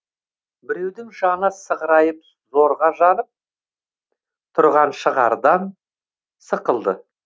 біреудің жаны сығырайып зорға жанып тұрған шығардан сықылды